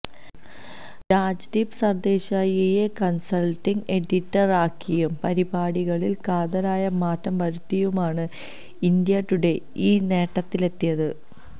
രാജ്ദീപ് സര്ദേശായിയെ കണ്സല്ട്ടിംഗ് എഡിറ്ററാക്കിയും പരിപാടികളില് കാതലായ മാറ്റം വരുത്തിയുമാണ് ഇന്ത്യ ടുഡേ ഈ നേട്ടത്തിലെത്തിയത്